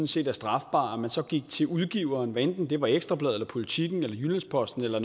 set er strafbare at man så gik til udgiveren hvad enten det var ekstra bladet eller politiken eller jyllands posten eller